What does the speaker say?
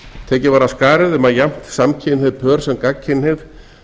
tekið var af skarið um að jafnt samkynhneigð pör sem gagnkynhneigð